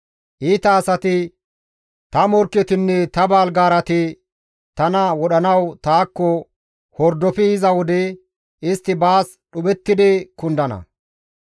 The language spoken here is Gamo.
Iita asati, ta morkketinne ta balgaarati tana wodhanawu taakko hordofi yiza wode, istti baas dhuphettidi kundana.